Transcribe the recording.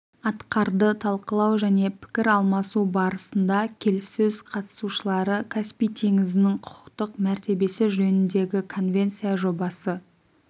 атқарды талқылау және пікір алмасу барысында келіссөз қатысушылары каспий теңізінің құқықтық мәртебесі жөніндегі конвенция жобасы